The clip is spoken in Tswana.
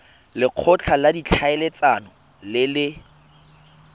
lekgotla la ditlhaeletsano le le